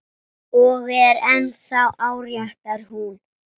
Og er ennþá áréttar hún.